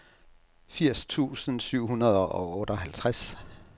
firs tusind syv hundrede og otteoghalvtreds